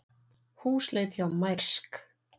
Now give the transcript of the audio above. Húsleit hjá Mærsk